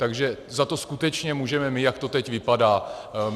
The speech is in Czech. Takže za to skutečně můžeme my, jak to teď vypadá.